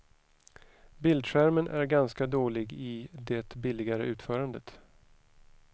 Bildskärmen är ganska dålig i det billigare utförandet.